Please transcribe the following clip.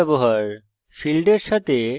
this কীওয়ার্ডের ব্যবহার